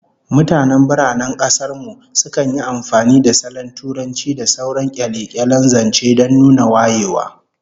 Mutanen biranen kasar mu sukan yi amfani da salon Turanci da sauran kyale-kyalen zance don nuna wayewa